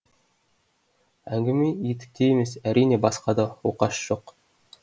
әңгіме етікте емес әрине басқада оқасы жоқ